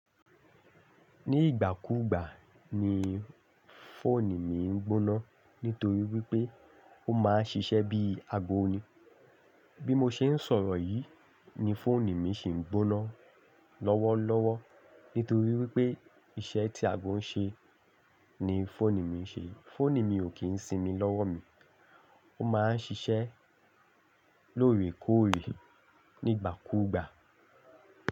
Ní ìgbà kú ìgbà ni fóònù mi ń gbóná nítorí wípé ó máa ń ṣiṣẹ́ bí ago ni. Bí mo ṣe ń sọ̀rọ̀ yìí ni fóònù mi ṣi ń gbóná lọ́wọ́lọ́wọ́ nítorí wípé iṣẹ́ tí ago ń ṣe ni fóònù mi ń ṣe. Fóònù mi ò kí ń sinmi lọ́wọ́ mi, ó máa ń ṣiṣẹ́ lóòrèkóòrè ní ìgbà kú ìgbà.